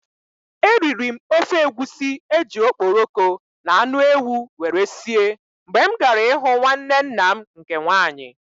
I ate egusi soup prepared with stock fish and goat meat when I visited my aunt.